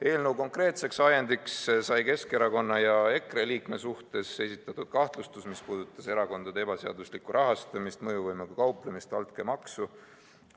Eelnõu konkreetseks ajendiks sai Keskerakonna ja EKRE liikme suhtes esitatud kahtlustus, mis puudutas erakondade ebaseaduslikku rahastamist, mõjuvõimuga kauplemist, altkäemaksu.